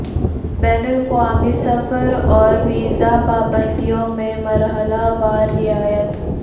بین الاقوامی سفر اور ویز ا پابندیوں میں مرحلہ وار رعایت